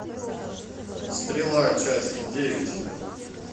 стрела часть девять